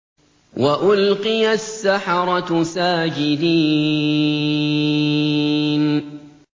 وَأُلْقِيَ السَّحَرَةُ سَاجِدِينَ